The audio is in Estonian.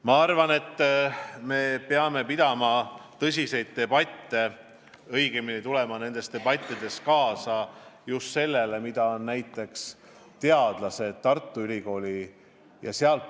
Ma arvan, et me peame pidama tõsiseid debatte, minnes kaasa ideedega, mida on välja käinud näiteks Tartu Ülikooli teadlased.